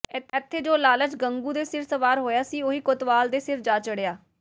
ਇਥੇ ਜੋ ਲਾਲਚ ਗੰਗੂ ਦੇ ਸਿਰ ਸਵਾਰ ਹੋਇਆ ਸੀ ਉਹੀ ਕੋਤਵਾਲ ਦੇ ਸਿਰ ਜਾ ਚੜ੍ਹਿਆ